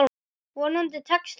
Vonandi tekst það.